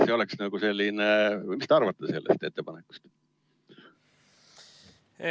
Mida te arvate sellest ettepanekust?